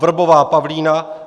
Vrbová Pavlína